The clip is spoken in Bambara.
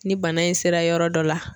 Ni bana in sera yɔrɔ dɔ la.